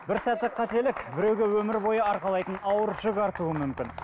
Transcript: бір сәттік қателік біреуге өмір бойы арқалайтын ауыр жүк артуы мүмкін